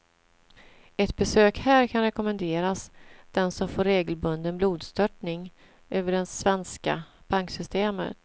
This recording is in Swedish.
Ett besök här kan rekommenderas den som får regelbunden blodstörtning över det svenska banksystemet.